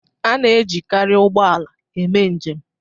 A na-ejikarị ụgbọ ala eme njem